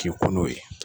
K'i kun n'o ye